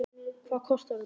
Hvað kostar þetta?